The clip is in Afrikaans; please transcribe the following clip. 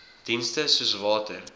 dienste soos water